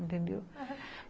Entendeu? Aham.